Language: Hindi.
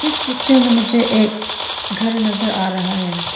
पिक्चर में मुझे एक घर नजर आ रहा है।